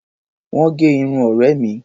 Wọ́n gẹ irun ọ̀rẹ́ mi.